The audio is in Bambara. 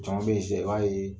Cama sisan , i b'a ye